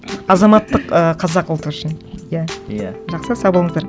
азаматтық ы қазақ ұлты үшін иә иә жақсы сау болыңыздар